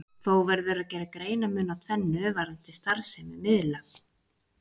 Þó verður að gera greinarmun á tvennu varðandi starfsemi miðla.